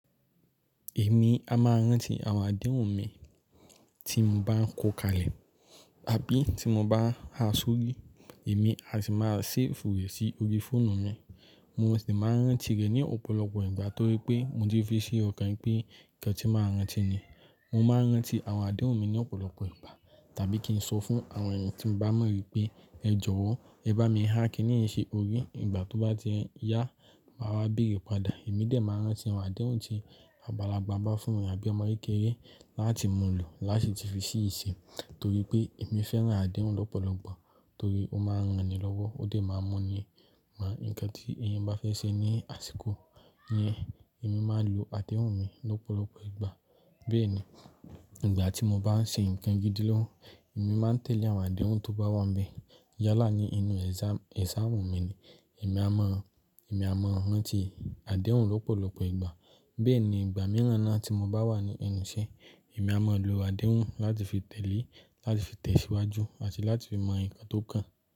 Èmi a máa ń rántí àwọn àdéhùn mi tí mo bá ń ko kalẹ̀ àbí tí mo bá ń ha sórí. Èmi a sì máa séèfù rẹ sí orí fóònù mi. Mo sì máa ń rántí rẹ̀ ní ọ̀pọ̀lọpọ̀ ìgbà torí pé mo ti fi si ọkàn pé nǹkan tí máa rántí ni. Mo máa ń rántí àwọn àdéhùn mi ní ọ̀pọ̀lọpọ̀ ìgbà tàbí kí n sọ fún àwọn èèyàn tí m bá mọ rí pé, ẹ jọ̀wọ́ ẹ bá mi há Kínní yi si orí ìgbà tó bá ti yá, màá wá béèrè padà. Èmi dẹ̀ máa ń rántí àwọn àdéhùn tí àgbàlagbà bá fún mi àbí ọmọ kékeré láti múlò láṣi ti fi ṣi ìṣe torí pé èmi fẹ́ rántí àdéhùn lọ́pọ̀lọpọ̀ torí ó máa ń ranni lọ́wọ́, ó dẹ máa ń mu ni, mọ nǹkan tí èèyàn bá fẹ́ ṣe ní àsìkò yẹn. Èmi máa ń lo àdéhùn mi ní ọ̀pọ̀lọpọ̀ ìgbà. Bẹ́ẹ̀ni, ìgbà tí mo bá ń ṣe nǹkan gidi lọ́wọ́, èmi máa ń tẹ̀lé àwọn àdéhùn tó bá wà níbẹ̀. Yálà ni inú ẹ̀sàm, ẹ̀sàmu mi ni, èmi a mọ̀, èmi a mọ̀ rántí àdéhùn lọ́pọ̀lọpọ̀ ìgbà. Bẹ́ẹ̀ni ìgbà mìíràn náà tí mo bá wà ní ẹnu ìṣẹ́, èmi a mọ̀ lo àdéhùn láti fi tẹ̀lé, láti fi tẹ̀síwájú àti láti fi mọ nǹkan tó kàn.